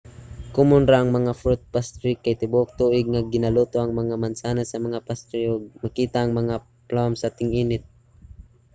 komun ra ang mga fruit pastry kay tibuok tuig nga ginaluto ang mga mansanas sa mga pastry ug makita ang mga plum sa ting-init